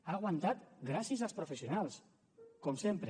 ha aguantat gràcies als professionals com sempre